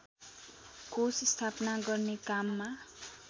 कोष स्थापना गर्ने काममा